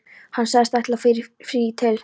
Hann sagðist ætla í frí til